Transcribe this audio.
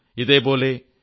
ഇതേപോലെ yourstory